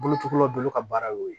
Bolocilaw bolo ka baara y'o ye